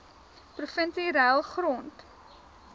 provinsie ruil grond